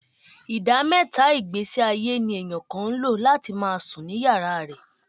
Ìdá mẹ́ta ìgbésíayé ní èèyàn kan ń lò. láti máa sùn ní yàrá rẹ̀